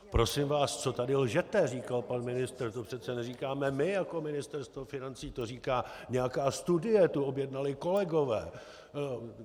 Prosím vás, co tady lžete, říkal pan ministr, to přece neříkáme my jako Ministerstvo financí, to říká nějaká studie, tu objednali kolegové.